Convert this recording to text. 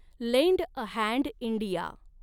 land a hand India